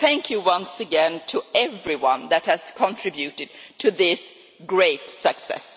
Thank you once again to everyone that has contributed to this great success.